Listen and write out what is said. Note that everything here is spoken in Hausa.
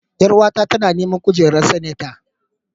Ƴaruwa ta tana neman kujerar sanata.